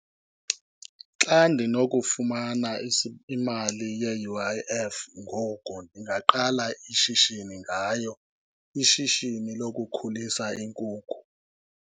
Xa ndinokufumana imali ye-U_I_F ngoku ndingaqala ishishini ngayo, ishishini lokukhulisa iinkukhu.